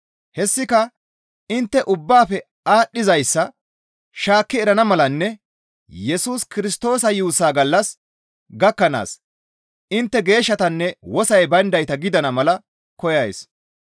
Hessika intte ubbaafe aadhdhizayssa shaakki erana malanne Yesus Kirstoosa yuussa gallas gakkanaas intte geeshshatanne wosoy bayndayta gidana mala koyays.